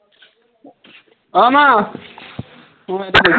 অ মা, অ মা এইটো নিয়া